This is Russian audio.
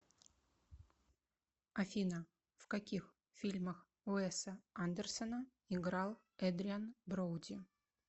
афина в каких фильмах уэса андерсона играл эдриан броуди